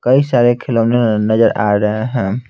कई सारे खिलौने नजर आ रहे हैं।